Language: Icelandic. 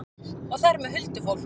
Og þar með huldufólk?